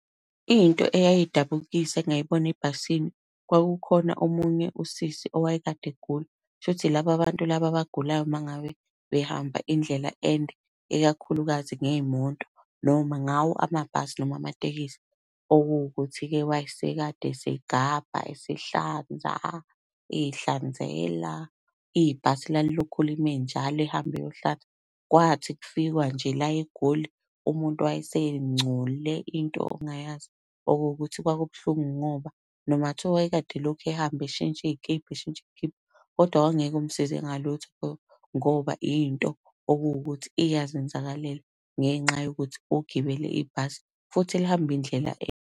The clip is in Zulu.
Into eyayidabukisa engayibona ebhasini kwakukhona omunye usisi owayekade egula, kushuthi yilaba abantu laba abagulayo uma ngabe behamba indlela ende, ikakhulukazi ngey'moto, noma ngawo amabhasi noma amatekisi. Okuwukuthi-ke wayese kade esegabha, esehlanza, ey'hlanzela. Ibhasi lalilokhu lime njalo ehambe eyohlanza. Kwathi kufikwa nje la eGoli umuntu wayesengcole into ongayazi. Okuwukuthi kwakubuhlungu ngoba, noma kungathiwa wayekade elokhu ehamba eshintsha iy'kibha eshintsha iy'kibha kodwa kwakungeke kumsize ngalutho ngoba, into okuwukuthi iyazenzakalela ngenxa yokuthi ugibele ibhasi futhi elihamba indlela .